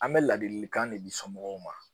An bɛ ladilikan de di somɔgɔw ma